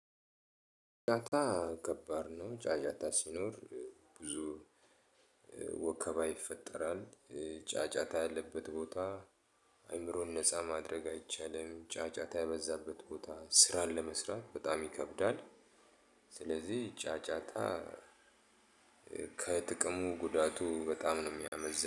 ጫጫታ ከባድ ነው። ጫጫታ ሲኖር ብዙ ወከባ ይፈጠራል። ጫጫታ ያለበት ቦታ አይምሮን ነፃ ማድረግ አይቻልም። ጫጫታ የበዛበት ቦታ ስራን ለመስራት በጣም ይከብዳል። ስለዚህ ጫጫታ ከጥቅሙ ጉዳቱ በጣም ነው የሚያመዝነው።